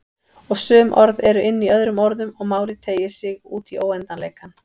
Og sum orð eru inní öðrum orðum og málið teygir sig útí óendanleikann.